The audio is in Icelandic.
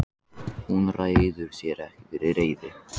Hún ræður sér ekki fyrir reiði.